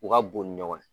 U ka bon ni ɲɔgɔn ye